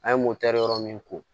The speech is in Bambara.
An ye yɔrɔ min ko